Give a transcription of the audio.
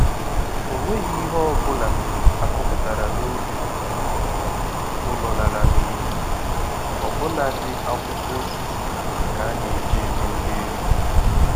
O nweghi ihe ọbụla a kọpụtara n'ubi ụlọ lara n'iyi, ọbụna dị akwụkwọ osisi ka aneji eme nri ewu.